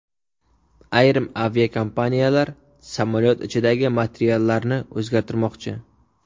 Ayrim aviakompaniyalar samolyot ichidagi materiallarni o‘zgartirmoqchi.